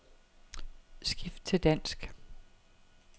Skift til dansk.